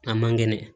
A man kɛnɛ